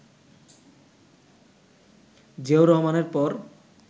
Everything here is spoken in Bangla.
জিয়াউর রহমানের পর